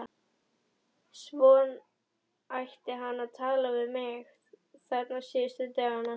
Svo hann hætti að tala við mig, þarna síðustu dagana.